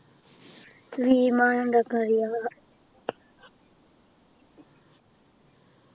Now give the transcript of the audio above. വിമാനം ഉണ്ടാക്കാൻ അറിയാം